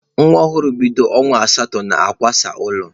Nwa ọhụrụ bido ọnwa asatọ na-akwasa ụlọ.